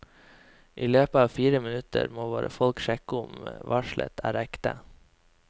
I løpet av fire minutter må våre folk sjekke om varselet er ekte.